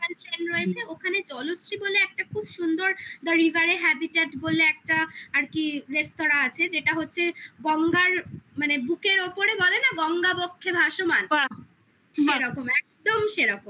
local train রয়েছে ওখানে জলশ্রী বলে একটা খুব সুন্দর The River a habit বলে একটা আর কি রেস্তোরাঁ আছে যেটা হচ্ছে গঙ্গার মানে বুকের ওপরে বলে না গঙ্গাবক্ষে ভাসমান বলে না বাহ্ সেরকম একদম সেরকম খুব সুন্দর